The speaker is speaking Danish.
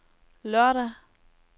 lørdag